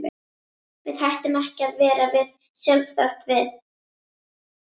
Við hættum ekki að vera við sjálf þótt við.